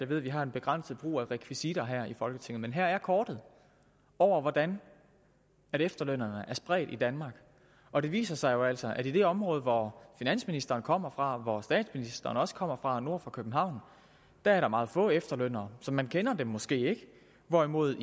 ved vi har en begrænset brug af rekvisitter her i folketinget men her er kortet over hvordan efterlønnerne er spredt i danmark og det viser sig jo altså at i det område hvor finansministeren kommer fra hvor statsministeren også kommer fra altså nord for københavn er der meget få efterlønnere så man kender dem måske ikke hvorimod